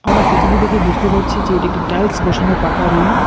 আমরা ফোটোটি -টি দেখে বুঝতে পারছি যে এটি একটি টাইলস বসানো পাকা রুম ।